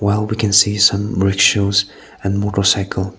wow we can see some bird shows and motorcycle.